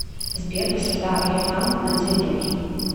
сбер высота элефант над землей